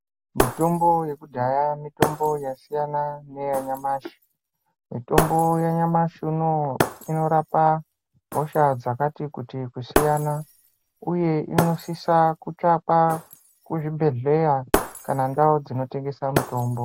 Mitombo yekudhaya mitombo yasiyana neyanyamashi. Mitombo yanyamashi unowu inorapa hosha dzakati kuti kusiyana uye unosisa kutsvakwa kuzvibhedhleya kana ndau dzinotengesa mitombo.